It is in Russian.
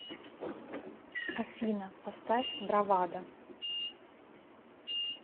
афина поставь бравадо